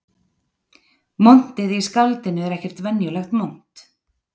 Montið í skáldinu er ekkert venjulegt mont